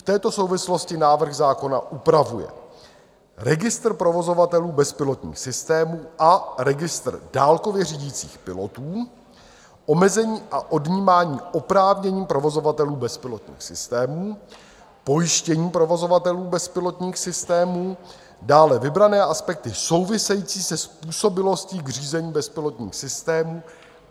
V této souvislosti návrh zákona upravuje registr provozovatelů bezpilotních systémů a registr dálkově řídících pilotů, omezení a odnímání oprávnění provozovatelů bezpilotních systémů, pojištění provozovatelů bezpilotních systémů, dále vybrané aspekty související se způsobilostí k řízení bezpilotních systémů